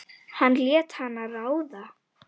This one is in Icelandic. Hann lét hana ráða.